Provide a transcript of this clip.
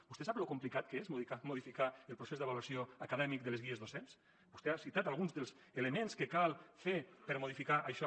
vostè sap lo complicat que és modificar el procés d’avaluació acadèmic de les guies docents vostè ha citat alguns dels elements que cal fer per a modificar això